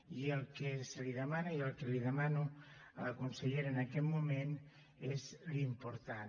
i el que se li demana i el que li demano a la consellera en aquest moment és l’important